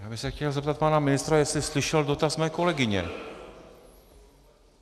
Já bych se chtěl zeptat pana ministra, jestli slyšel dotaz mé kolegyně.